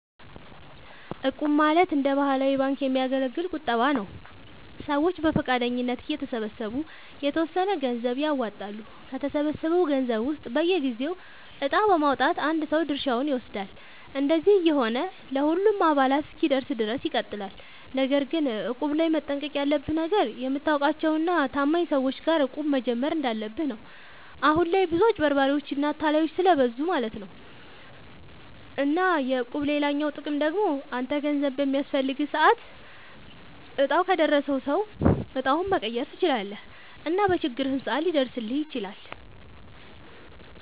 እቁብ ማለት እንደ ባህላዊ ባንክ የሚያገለግል ቁጠባ ነዉ። ሰዎች በፈቃደኝነት እየተሰባሰቡ የተወሰነ ገንዘብ ያዋጣሉ፣ ከተሰበሰበው ገንዘብ ውስጥ በየጊዜው እጣ በማዉጣት አንድ ሰው ድርሻውን ይወስዳል። እንደዚህ እየሆነ ለሁሉም አባላት እስኪደርስ ድረስ ይቀጥላል። ነገር ግን እቁብ ላይ መጠንቀቅ ያለብህ ነገር፣ የምታውቃቸው እና ታማኝ ሰዎች ጋር እቁብ መጀመር እንዳለብህ ነው። አሁን ላይ ብዙ አጭበርባሪዎች እና አታላዮች ስለብዙ ማለት ነው። እና የእቁብ ሌላኛው ጥቅም ደግሞ አንተ ገንዘብ በሚያስፈልግህ ሰዓት እጣው ከደረሰው ሰው እጣውን መቀየር ትችላለህ እና በችግርህም ሰዓት ሊደርስልህ ይችላል።